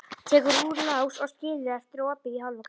Tekur úr lás og skilur eftir opið í hálfa gátt.